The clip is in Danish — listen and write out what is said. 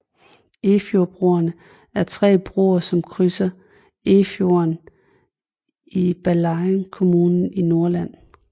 Efjordbroerne er tre broer som krydser Efjorden i Ballangen kommune i Nordland